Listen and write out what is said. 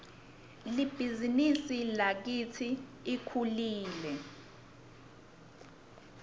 libhizinisi lakitsi lkhulile